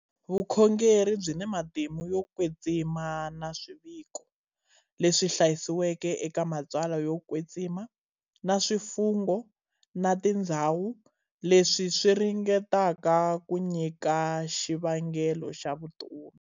Vukhongeri byi na matimu yo kwetsima na swiviko leswi hlayisiweke eka matsalwa yo kwetsima, na swifungo, na tindzhawu, leswi swi ringetaka ku nyika xivangelo xa vutomi.